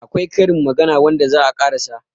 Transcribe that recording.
akwai Karin magana wanda za a ƙarasa